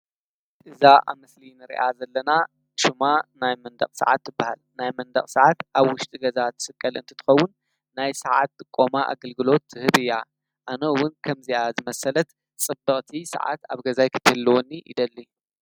ጥዛ ኣምስሊን ርኣ ዘለና ሹማ ናይ መንዳቕ ሰዓት እበሃል ናይ መንዳቕ ሰዓት ኣብ ውሽጢ ገዛ ትስቀል እንትትኸውን ናይ ሰዓት ቆማ ኣገልግሎት ትህብ እያ ኣነውን ከምእዚኣ ዝመሰለት ጽበቕእቲ ሰዓት ኣብ ገዛይ ክተልወኒ ይደሊ።